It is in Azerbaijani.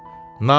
Namərd!